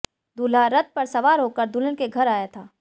दूल्हा रथ पर सवार होकर दुल्हन के घर आया था